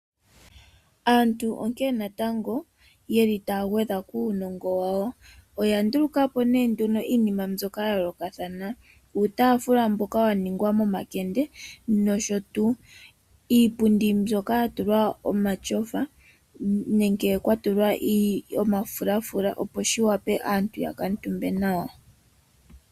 Aantu onkene natango yeli taya gwedha kuunongo wawo oya ndulukapo ne iinima mbyono ya yoolokathana ngaashi uutafula mboka wa ningwa momakende nosho tuu iipundi mbyoka ya tulwa omatyofa nenge kwa tulwa omafulafula opo shi wape aantu ya kutumbe nawa.